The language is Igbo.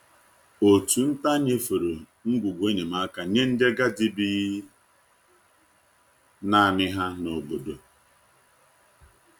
Òtù nta nyefere ngwugwu enyemaka nye ndị agadi bi naanị ha n’obodo.